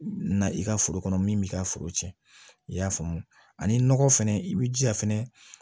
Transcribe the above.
Na i ka foro kɔnɔ min b'i ka foro cɛn i y'a faamu ani nɔgɔ fɛnɛ i b'i jija fɛnɛ